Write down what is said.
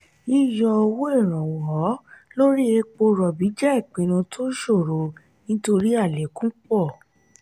yíyọ owó ìrànwọ́ lórí èpo robi jẹ ìpinnu tó ṣòro nítorí alekun pọ.